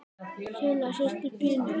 Silla systir Pínu.